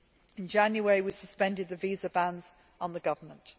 In January, we suspended the visa bans on the government.